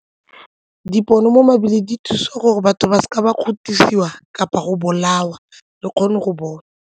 Dipono mo mebileng di thusa ka gore batho ba seke ba kgothosiwa kapa go bolawa re kgone go bona.